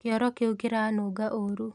Kĩoro kĩu kĩranunga ũru.